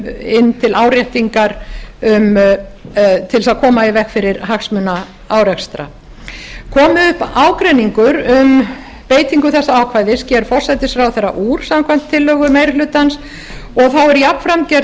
inn til áréttingar til að koma í veg fyrir hagsmunaárekstra komi upp ágreiningur um beitingu þessa ákvæðis sker forsætisráðherra úr samkvæmt tillögu meiri hlutans og þá er jafnframt gerð